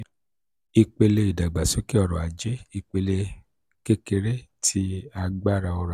ipele idagbasoke ọrọ-aje: ipele kekere ti agbara ọrọ-aje